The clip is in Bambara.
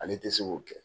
Ale tɛ se k'o kɛ